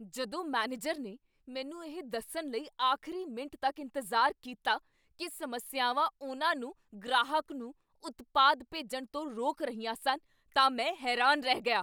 ਜਦੋਂ ਮੈਨੇਜਰ ਨੇ ਮੈਨੂੰ ਇਹ ਦੱਸਣ ਲਈ ਆਖ਼ਰੀ ਮਿੰਟ ਤੱਕ ਇੰਤਜ਼ਾਰ ਕੀਤਾ ਕੀ ਸਮੱਸਿਆਵਾਂ ਉਨ੍ਹਾਂ ਨੂੰ ਗ੍ਰਾਹਕ ਨੂੰ ਉਤਪਾਦ ਭੇਜਣ ਤੋਂ ਰੋਕ ਰਹੀਆਂ ਸਨ, ਤਾਂ ਮੈਂ ਹੈਰਾਨ ਰਹਿ ਗਿਆ।